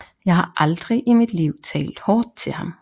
Jeg har aldrig i mit liv talt hårdt til ham